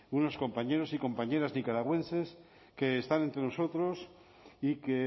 unos compañeros y compañeras nicaragüenses que están entre nosotros y que